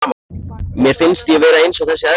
Mér finnst ég vera eins og þessi eðla.